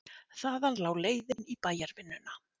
Þaðan lá leiðin í bæjarvinnuna.